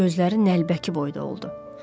Gözləri nəlbəki boyda oldu.